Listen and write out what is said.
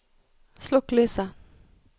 slokk lyset